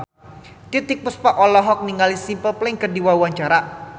Titiek Puspa olohok ningali Simple Plan keur diwawancara